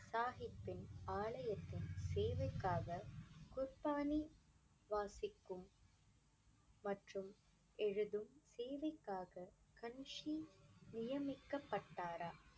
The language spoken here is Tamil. சாஹிப்பின் ஆலயத்தின் தேவைக்காக குர்பானி வாசிக்கும் மற்றும் எழுதும் சேவைக்காக கன்ஷி நியமிக்கப்பட்டாரா